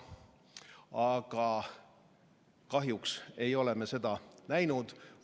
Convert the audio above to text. Aga kahjuks ei ole me seda näinud.